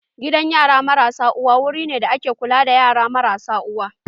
Gidan yara marasa uwa wuru ne da ake kula da yara marasa uwa.